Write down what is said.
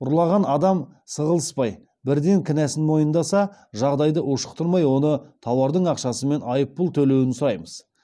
ұрлаған адам сығыласпай бірден кінәсін мойындаса жағдайды ушықтырмай оны тауардың ақшасы мен айыппұл төлеуін сұраймыз